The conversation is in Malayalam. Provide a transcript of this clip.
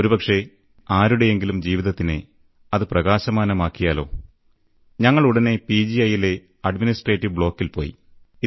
ഒരുപക്ഷേ ആരുടെയെങ്കിലും ജീവിതത്തിനെ അത് പ്രകാശമാനമാക്കിയാലോ ഞങ്ങളുടനെ പി ജി ഐയിലെ യിലെ അഡ്മിനിസ്ട്രേറ്റീവ് ബ്ലോക്കിൽ പോയി